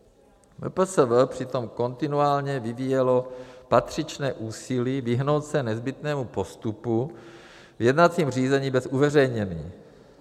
MPSV přitom kontinuálně vyvíjelo patřičné úsilí vyhnout se nezbytnému postupu v jednacím řízení bez uveřejnění.